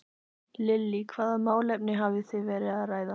Lillý: Hvaða málefni hafið þið verið að ræða?